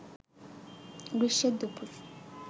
গ্রীষ্মের দুপুর